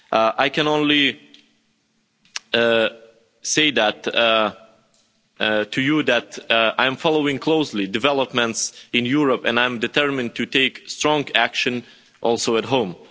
I can only say to you that I am following closely developments in Europe and I am determined to take strong action also at home.